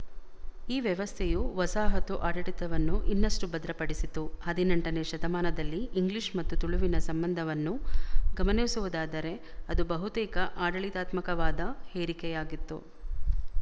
ಈ ವ್ಯವಸ್ಥೆಯು ವಸಾಹತು ಆಡಳಿತವನ್ನು ಇನ್ನಷ್ಟು ಭದ್ರಪಡಿಸಿತು ಹದಿನೆಂಟನೇ ಶತಮಾನದಲ್ಲಿ ಇಂಗ್ಲಿಶ ಮತ್ತು ತುಳುವಿನ ಸಂಬಂಧವನ್ನು ಗಮನಿಸುವುದಾದರೆ ಅದು ಬಹುತೇಕ ಆಡಳಿತಾತ್ಮಕವಾದ ಹೇರಿಕೆಯಾಗಿತ್ತು